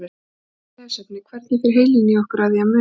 Frekara lesefni: Hvernig fer heilinn í okkur að því að muna?